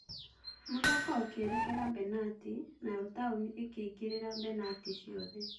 Mũthako ũkĩerekera benatĩ, nayo Taũni ĩkĩingĩria benatĩ ciothe.